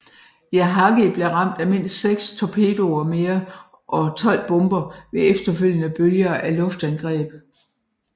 Yahagi blev ramt af mindst seks torpedoer mere og 12 bomber ved efterfølgende bølger af luftangreb